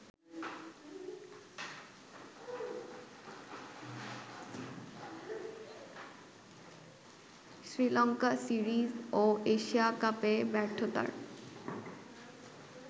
Sri Lanka series ও Asia কাপে ব্যর্থতার